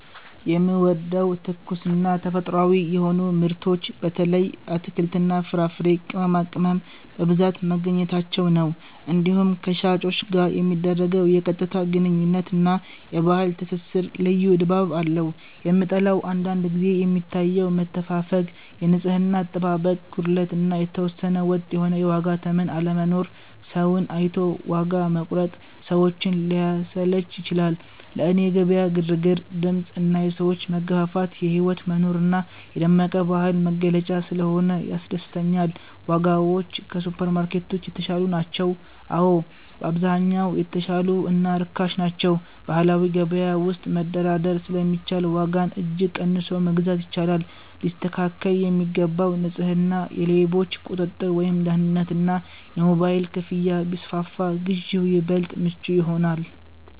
የምወደደው፦ ትኩስና ተፈጥሯዊ የሆኑ ምርቶች (በተለይ አትክልትና ፍራፍሬ፣ ቅመማቅመም) በብዛት መገኘታቸው ነው። እንዲሁም ከሻጮች ጋር የሚደረገው የቀጥታ ግንኙነት እና የባህል ትስስር ልዩ ድባብ አለው። የምጠላው፦ አንዳንድ ጊዜ የሚታየው መተፋፈግ፣ የንጽህና አጠባበቅ ጉድለት እና የተወሰነ ወጥ የሆነ የዋጋ ተመን አለመኖር (ሰውን አይቶ ዋጋ መቁረጥ) ሰዎችን ሊያሰለች ይችላል። ለእኔ የገበያ ግርግር፣ ድምፅ እና የሰዎች መገፋፋት የህይወት መኖር እና የደመቀ ባህል መገለጫ ስለሆነ ያስደስተኛል። ዋጋዎች ከሱፐርማርኬቶች የተሻሉ ናቸው? አዎ፣ በአብዛኛው የተሻሉ እና ርካሽ ናቸው። በባህላዊ ገበያ ውስጥ መደራደር ስለሚቻል ዋጋን እጅግ ቀንሶ መግዛት ይቻላል። ሊስተካከል የሚገባው፦ ንጽህና፣ የሌቦች ቁጥጥር (ደህንነት) እና የሞባይል ክፍያ ቢስፋፋ ግዢው ይበልጥ ምቹ ይሆናል።